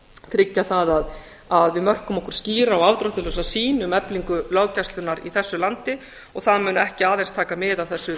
tryggja það að við mörkum okkur skýra og afdráttarlausa sýn um eflingu löggæslunnar í þessu landi og það mun ekki aðeins taka mið af þessu